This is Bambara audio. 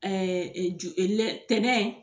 tɛnɛn